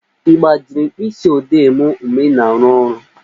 Ị gbajiri mkpịsị odee m mgbe ị na-aru ọrụ